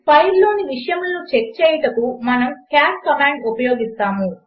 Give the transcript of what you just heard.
ఫైల్లోని విషయములను చెక్ చేయుటకు మనము క్యాట్ కమాండ్ ఉపయోగిస్తాము